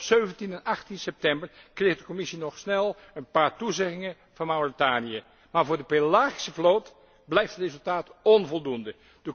Op 17 en 18 september kreeg de Commissie nog snel een paar toezeggingen van Mauritanië, maar voor de pelagische vloot blijft het resultaat onvoldoende.